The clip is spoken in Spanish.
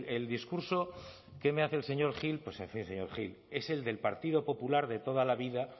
el discurso que me hace el señor gil pues en fin señor gil es el del partido popular de toda la vida